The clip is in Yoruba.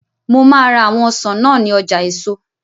Mo máa ra àwọn ọsàn náà ní ọjà eèso